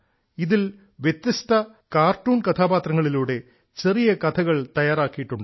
ഇതിൽ വ്യത്യസ്ത കാർട്ടൂൺ കഥാപാത്രങ്ങളിലൂടെ ചെറിയ കഥകൾ തയ്യാറാക്കിയിട്ടുണ്ട്